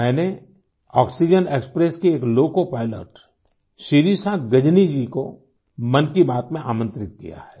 मैंने oxygen express की एक लोकोपाइलट शिरिषा गजनी जी को मन की बात में आमंत्रित किया है